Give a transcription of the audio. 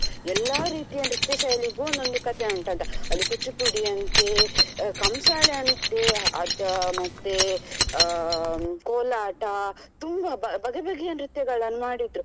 ಎಲ್ಲ ರೀತಿಯ ನೃತ್ಯ ಶೈಲಿಗೂ ಒಂದೊಂದು ಕಥೆ ಉಂಟಂತ ಅಲ್ಲಿ ಕೂಚುಪುಡಿ ಅಂತೇ ಅಹ್ ಕಂಸಾಳೆ ಅಂತೇ ಅದು ಮತ್ತೆ ಅಹ್ ಕೋಲಾಟ ತುಂಬಾ ಬಗೆ ಬಗೆಯ ನೃತ್ಯಗಳನ್ನು ಮಾಡಿದ್ರು.